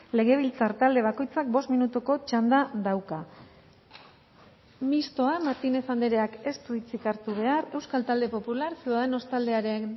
legebiltzar talde bakoitzak bost minutuko txanda dauka mistoa martínez andreak ez du hitzik hartu behar euskal talde popular ciudadanos taldearen